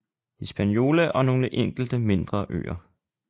Hispaniola og nogle enkelte mindre øer